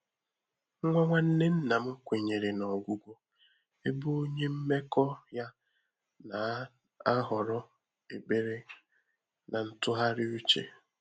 Nwá nwànnè nnà m kwènyèrè nà ọ́gwụ́gwọ́, ébé ọ́nyé mmèkọ́ yá nà-àhọ́rọ́ ékpèré nà ntụ́ghàrị́ úchè.